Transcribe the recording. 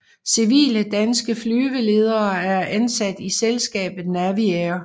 Civile danske flyveledere er ansat i selskabet Naviair